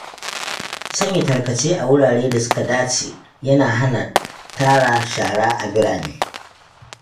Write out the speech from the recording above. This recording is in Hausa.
Sanya tarkace a wuraren da suka dace yana hana tara shara a birane.